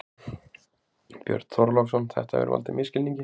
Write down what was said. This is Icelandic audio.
Björn Þorláksson: Þetta hefur valdið misskilningi?